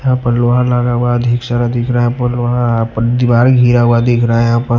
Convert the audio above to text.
यहां पर लोहा लगा हुआ अधिक सारा दिख रहा है पर लोहा पर दीवार घिरा हुआ दिख रहा है यहां पर--